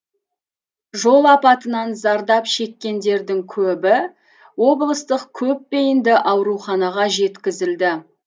жол апатынан зардап шеккендердің көбі облыстық көпбейінді ауруханаға жеткізілді